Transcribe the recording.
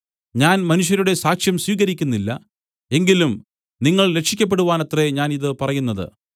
ഞാൻ മനുഷ്യരുടെ സാക്ഷ്യം സ്വീകരിക്കുന്നില്ല എങ്കിലും നിങ്ങൾ രക്ഷിയ്ക്കപ്പെടുവാനത്രേ ഞാൻ ഇതു പറയുന്നത്